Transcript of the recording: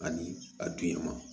Ani a dun ye ma